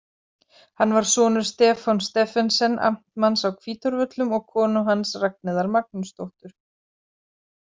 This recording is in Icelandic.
Hann var sonur Stefáns Stephensens amtmanns á Hvítárvöllum og konu hans Ragnheiðar Magnúsdóttur.